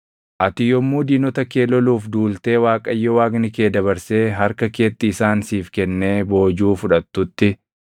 Ati yommuu diinota kee loluuf duultee Waaqayyo Waaqni kee dabarsee harka keetti isaan siif kennee boojuu fudhattutti,